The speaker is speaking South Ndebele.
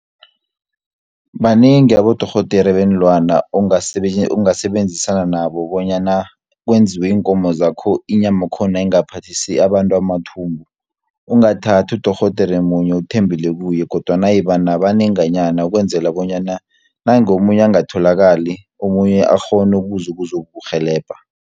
Banengi abodorhodere beenlwana ongasebenzisana nabo bonyana kwenziwe iinkomo zakho, inyama yakhona ingaphathisi abantu amathumbu. Ungathathi udorhodere munye uthembele kuye, kodwana iba nabanenganyana ukwenzela bonyana nange omunye angatholakali, omunye akghone ukuza ukuzokurhelebha.